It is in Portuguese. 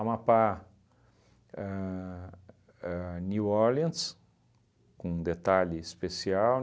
a a New Orleans, com um detalhe especial.